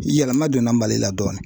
Yɛlɛma donna Mali la dɔɔnin